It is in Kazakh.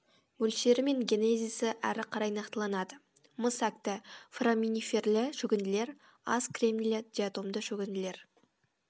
мөлшері мен генезисі әрі карай нақтыланады мыс әкті фораминиферлі шөгінділер аз кремнийлі диатомды шөгінділер